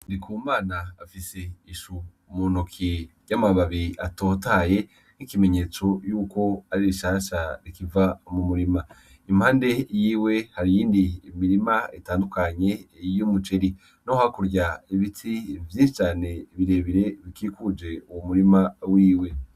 Ndikumana afise ishou umunoki ry'amababi atotaye nk'ikimenyetso yuko ari rishasha rikiva mu murima, impande yiwe harindi imirima itandukanye yiyo umuceri no hakurya ibiti vyinsi cane birebire bikikuje uwu murima wiwe.